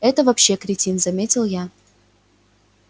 это вообще кретин заметил я